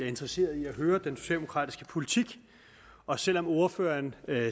interesseret i at høre om den socialdemokratiske politik og selv om ordføreren